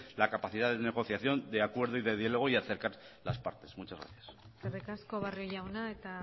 la capacidad de negociación de acuerdo y de diálogo y de acercar las partes muchas gracias eskerrik asko barrio jauna eta